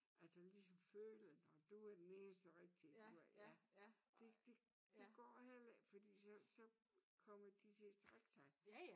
Altså ligesom føle nåh du er den eneste rigtige du er ja det det det går heller ikke fordi så så kommer de til at træk sig